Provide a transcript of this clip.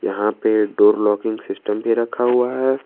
यहां पे door locking system भी रखा हुआ है।